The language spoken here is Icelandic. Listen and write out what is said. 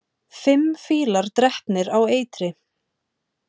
Fimm fílar drepnir á eitri